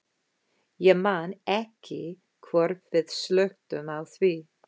Ég man ekki hvort við slökktum á því.